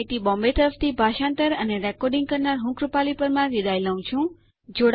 IIT Bombay તરફથી ભાષાંતર કરનાર હું કૃપાલી પરમાર વિદાય લઉં છું